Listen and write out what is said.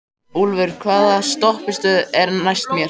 Úlfur, hvaða stoppistöð er næst mér?